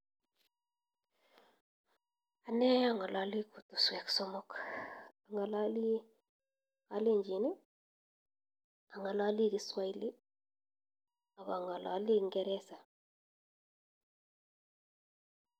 Ane ang'alali kutuswek somok, ang'alali kalenjin , ang'alali kiswahili aka ng'alali ngeresa.